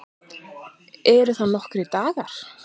Eru það nokkrir dagar?